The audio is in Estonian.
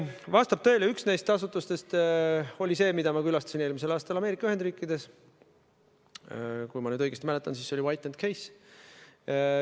Vastab tõele, et üks neist asutustest oli see, mida ma külastasin eelmisel aastal Ameerika Ühendriikides – kui ma nüüd õigesti mäletan, siis oli see White & Case.